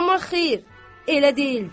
Amma xeyr, elə deyildi.